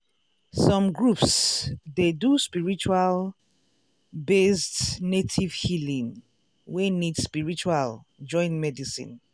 some groups dey do spiritual-based native healing wey need spiritual join medicine.